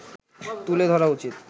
তুলে ধরা উচিত